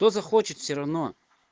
кто захочет все равно